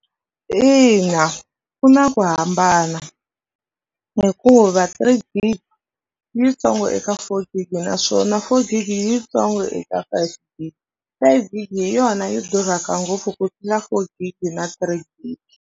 Ina, ku na ku hambana hikuva three gig yitsongo eka four gigi naswona four gigi yitsongo eka five gig, five gig hi yona yi durhaka ngopfu ku tlula four gig na three gig.